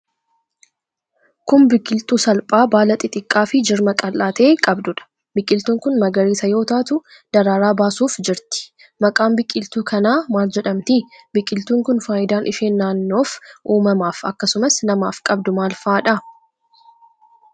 Kun, biqiltuu salphaa baala xixiqqaa fi jirma qallaa ta'e qabduu dha. Biqiltuun kun, magariisa yoo taatu, daraaraa baasuuf jirti. Maqaan biqiltuu kanaa maal jedhamti? Biqiltuun kun, faayidaan isheen naannoof, uumamaaf akkasumas namaaf qabdu maal faa dha?